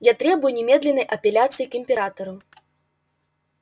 я требую немедленной апелляции к императору